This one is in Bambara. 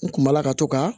N kun b'ala ka to ka